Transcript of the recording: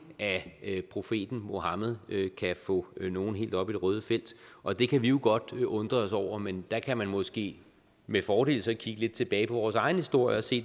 af profeten muhammed kan få nogle helt op i det røde felt og det kan vi jo godt undre os over men der kan man måske med fordel så kigge lidt tilbage på vores egen historie og se